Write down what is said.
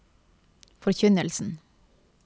forkynnelsen